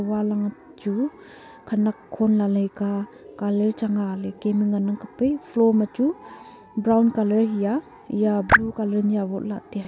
wall ang chu khanak khon lailai ka colour chang a likin ngana kap ai floor ma chu brown colour hiya yaa blue colour awotla teya.